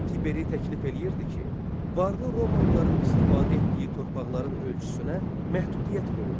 Tiberi təklif eləyirdi ki, varlı romalıların istifadə etdiyi torpaqların ölçüsünə məhdudiyyət qoyulsun.